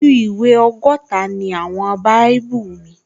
Ojú ìwé ọgọ́ta ni àwọn báíbù míì